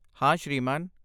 ਹਾਂ ਸ਼੍ਰੀਮਾਨ।